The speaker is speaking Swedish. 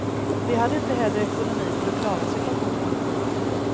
De hade inte heller ekonomi för att klara situationen.